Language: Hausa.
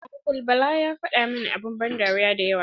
Uncle bala ya fada mana abun ban dariya dayawa.